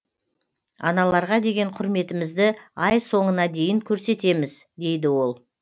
аналарға деген құрметімізді ай соңына дейін көрсетеміз дейді ол